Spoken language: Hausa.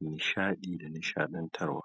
nishaɗi da nishaɗantarwa.